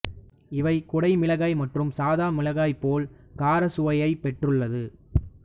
இவை குடைமிளகாய் மற்றும் சாத மிளகாயைப் போல கார சுவையைப்பெற்றுள்ளது